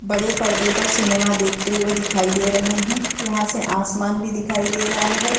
बड़े परदे पर सिनेमा देखते हुए दिखाई दे रहे है यहाँ से आसमान भी दिखाई दे रहा है।